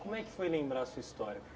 Como é que foi lembrar a sua história?